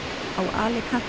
á Alicante